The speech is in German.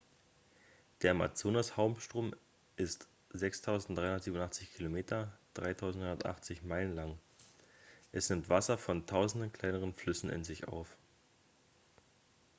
der amazonas-hauptstrom ist 6387 km 3980 meilen lang. es nimmt wasser von tausenden kleineren flüssen in sich auf